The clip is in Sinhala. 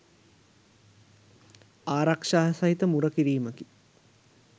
ආරක්‍ෂා සහිත මුරකිරීමකි.